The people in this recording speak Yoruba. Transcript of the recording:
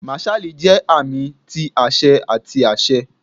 Marshal jẹ aami ti aṣẹ ati aṣẹ.